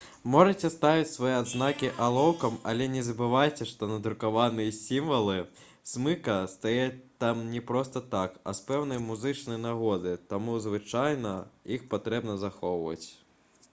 можаце ставіць свае адзнакі алоўкам але не забывайце што надрукаваныя сімвалы смыка стаяць там не проста так а з пэўнай музычнай нагоды таму звычайна іх патрэбна захоўваць